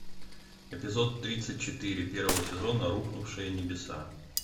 эпизод тридцать четыре первого сезона рухнувшие небеса